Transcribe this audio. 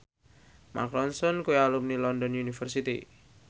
Mark Ronson kuwi alumni London University